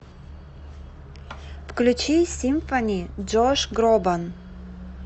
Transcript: включи симфони джош гробан